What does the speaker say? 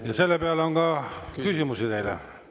Ja selle peale on ka küsimusi teile.